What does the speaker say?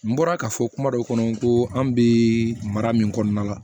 N bɔra ka fɔ kuma dɔ kɔnɔ n ko an bɛ mara min kɔnɔna la